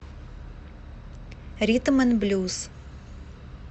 ритм н блюз